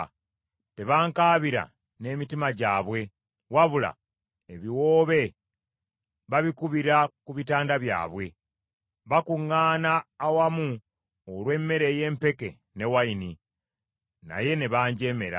Tebankaabira n’emitima gyabwe, wabula ebiwoobe babikubira ku bitanda byabwe. Bakuŋŋaana awamu olw’emmere ey’empeke ne wayini, naye ne banjeemera.